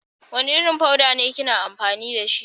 Wanda Irin fuda be kina amfani da shi?